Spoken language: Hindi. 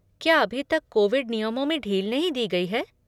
क्या अभी तक कोविड नियमों में ढील नहीं दी गई है?